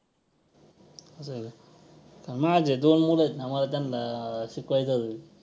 असं आहे का तर माझे दोन मुलं आहेत ना मला त्यांना शिकवायचं आहे हे.